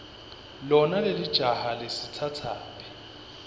lona lelijaha lisitsatsaphi